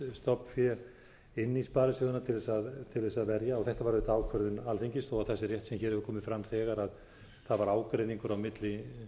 inn í sparisjóðina til þess að verja þetta var auðvitað ákvörðun alþingis þó það sé rétt sem hér hefur komið fram þegar það var ágreiningur á milli